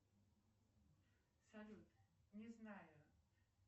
салют не знаю